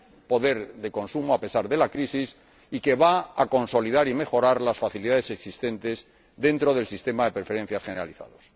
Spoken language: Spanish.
poder de consumo a pesar de la crisis—, y va a consolidar y mejorar las facilidades existentes dentro del sistema de preferencias generalizadas.